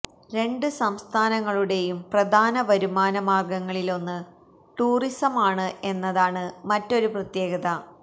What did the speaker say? രണ്ട് സംസ്ഥാനങ്ങളുടേയും പ്രധാന വരുമാന മാര്ഗ്ഗങ്ങളില് ഒന്ന് ടൂറിസമാണ് എന്നതാണ് മറ്റൊരു പ്രത്യേകത